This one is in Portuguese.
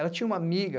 Ela tinha uma amiga,